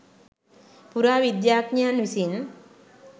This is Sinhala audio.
පුරාවිද්‍යාඥයන් විසින්